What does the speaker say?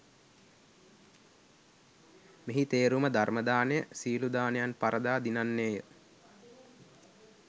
මෙහි තේරුම ධර්ම දානය සියලු දානයන් පරදා දිනන්නේ ය